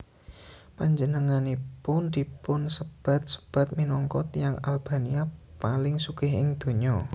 Panjenenganipun dipunsebat sebat minangka tiyang Albania paling sugih ing donya